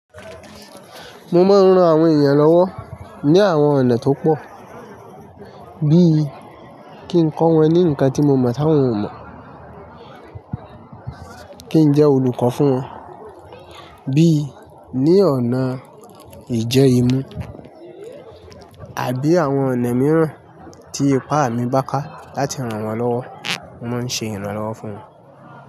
Mo máa ń ran àwọn èèyàn lọ́wọ́ ní àwọn ọ̀nà tó pọ̀, bí i kí n kọ́ wọn ní nǹkan tí mo mọ̀ tí awọ́n ò mọ̀, kí n jẹ́ olùkọ́ fún wọn, bí i ní ọ̀nà ìjẹ́ imú àbí àwọn ọ̀nà mìíràn tí ipá mi bá ká láti ran wọn lọ́wọ́, mo ń ṣe ìrànlọ́wọ́ fún wọn.